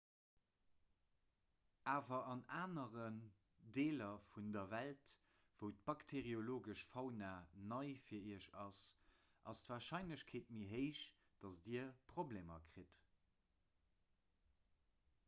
awer an aneren deeler vun der welt wou d'bakteeriologesch fauna nei fir iech ass ass d'warscheinlechkeet méi héich datt dir problemer kritt